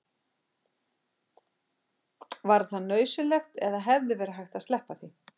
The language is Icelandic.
var það nauðsynlegt eða hefði verið hægt að sleppa því